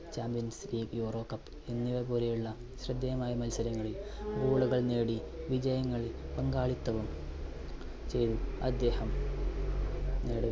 champions league, euro cup എന്നിവ പോലെയുള്ള ശ്രദ്ധേയമായ മത്സരങ്ങളിൽ goal കൾ നേടി വിജയങ്ങളിൽ പങ്കാളിത്തവും ചെയ്തു, അദ്ദേഹം നേടുകയും